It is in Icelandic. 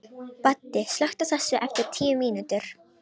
Baddi, slökktu á þessu eftir tíu mínútur.